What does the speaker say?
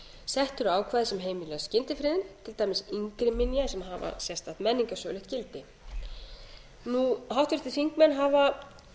sett eru ákvæði sem heimila skyndifriðun til dæmis yngri minja sem hafa sérstakt menningarsögulegt gildi níundi háttvirtir þingmenn hafa